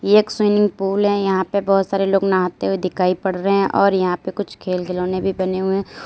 एक swimming pool है यहां पे बहुत सारे लोग नहाते हुए दिखाई पड़ रहे हैं और यहां पे कुछ खेल खिलौने भी बने हुए हैं।